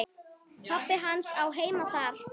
Pabbi hans á heima þar.